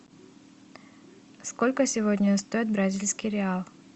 сколько сегодня стоит бразильский реал